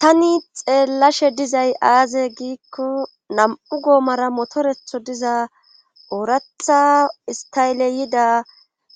Tani xeellashe dizay aaze giikko nam'u goomara motoretho diza ooratha istayele yida